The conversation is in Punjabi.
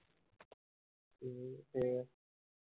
ਅਮ